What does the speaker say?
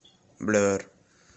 блер